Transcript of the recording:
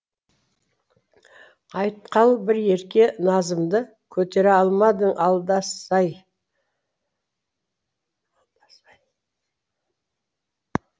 айтқал бір ерке назымды көтере алмадың алдасай